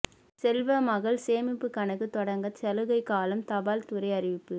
செல்வ மகள் சேமிப்பு கணக்கு தொடங்க சலுகை காலம் தபால் துறை அறிவிப்பு